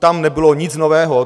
Tam nebylo nic nového.